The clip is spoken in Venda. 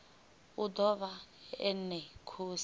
o ḓo vha ene khosi